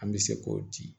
An bɛ se k'o di